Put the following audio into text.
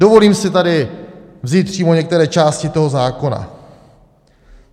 Dovolím si tady vzít přímo některé části toho zákona.